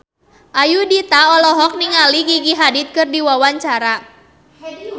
Ayudhita olohok ningali Gigi Hadid keur diwawancara